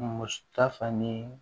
Muso ta fani